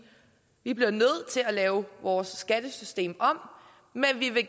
vi bliver nødt til at lave vores skattesystem om men vi vil